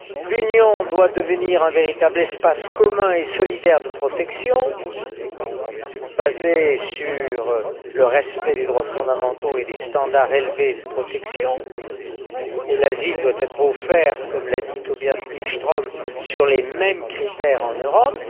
L'Union doit devenir un véritable espace commun et solidaire de protection, basé sur le respect des droits fondamentaux et des standards élevés de protection, et l'asile doit être offert, comme l'a dit Tobias Billström, selon les mêmes critères en Europe.